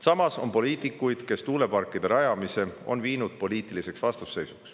Samas on poliitikuid, kes tuuleparkide rajamise teemal poliitilist vastasseisu.